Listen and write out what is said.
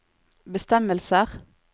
bestemmelser